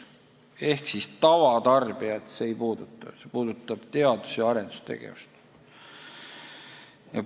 Seega tavatarbijaid see ei puuduta, see puudutab teadus- ja arendustegevust.